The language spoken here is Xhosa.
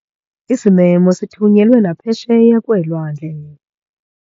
Isimemo sithunyelwe naphesheya kweelwandle.